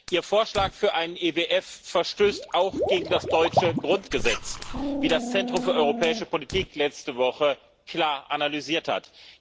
Ihr Vorschlag für einen EWF verstößt auch gegen das deutsche Grundgesetz, wie das Centrum für Europäische Politik letzte Woche klar analysiert hat.